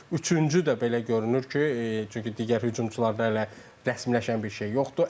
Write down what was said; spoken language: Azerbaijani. Üçüncü də belə görünür ki, çünki digər hücumçularda hələ rəsmiləşən bir şey yoxdur.